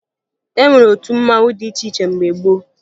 E nwere otu mmanwụ dị iche iche mgbe gboo